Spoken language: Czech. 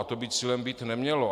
A to by cílem být nemělo.